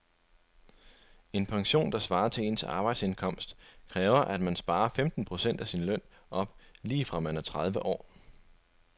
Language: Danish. En pension, der svarer til ens arbejdsindkomst, kræver at man sparer femten procent af sin løn op lige fra man er tredive år.